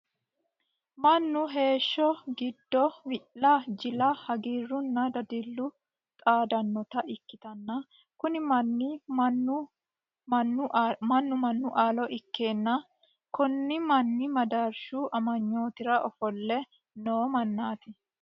mannu heeshsho giddo wi'la, ji'la hagiirunna dadillu xaadannota ikkitanna, kuni manni mannu mannu aalo ikkeenna konni manni madaarshu amanyootira ofolle noo mannaati.